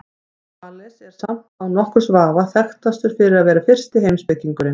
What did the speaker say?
Þales er samt án nokkurs vafa þekktastur fyrir að vera fyrsti heimspekingurinn.